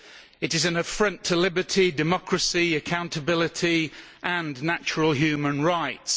It is an affront to liberty, democracy, accountability and natural human rights.